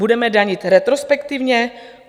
Budeme danit retrospektivně?